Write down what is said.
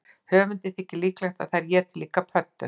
Höfundi þykir líklegt að þær éti líka pöddur.